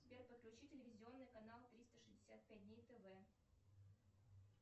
сбер подключи телевизионный канал триста шестьдесят пять дней тв